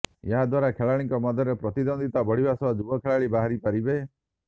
ଏହା ଦ୍ବାରା ଖେଳାଳିଙ୍କ ମଧ୍ୟରେ ପ୍ରତିଦ୍ବନ୍ଦ୍ବିତା ବଢ଼ିବା ସହ ଯୁବ ଖେଳାଳି ବାହାରିପାରିବେ